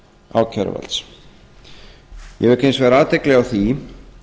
ákæruvalds ég vek hins vegar athygli á því